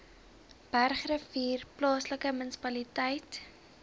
bergrivier plaaslike munisipaliteit